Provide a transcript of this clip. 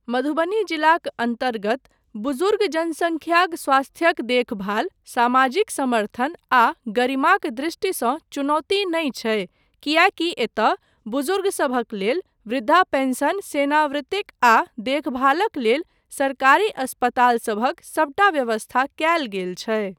मधुबनी जिलाक अन्तर्गत बुजुर्ग जनसंख्याक स्वास्थ्यक देखभाल सामाजिक समर्थन आ गरिमाक दृष्टि सँ चुनौती नहि छै किएकी एतय बुज़ुर्गसभक लेल वृद्धा पेंशन सेनावृतिक आ देखभालक लेल सरकारी अस्पताल सभक सभटा व्यवस्था कयल गेल छै।